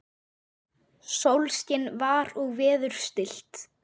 Sólskin var og veður stillt.